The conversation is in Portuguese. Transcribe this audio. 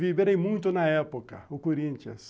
Viverem muito na época, o Corinthians.